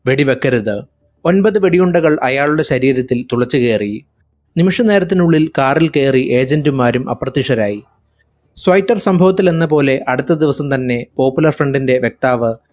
വെടി വെക്കരുത് ഒമ്പത് വെടിയുണ്ടകൾ അയാളുടെ ശരീരത്തിൽ തുളച്ചു കയറി നിമിഷ നേരത്തിനുള്ളിൽ car ൽ കയറി agent മാരും അപ്രത്യക്ഷരായി. സ്വൈറ്റർ സമ്പവത്തിൽ എന്നപോലെ അടുത്ത ദിവസം തന്നെ popular front ന്റെ വക്താവ്